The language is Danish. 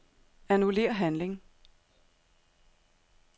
Annullér handling.